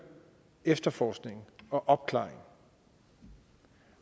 efterforskningen og opklaringen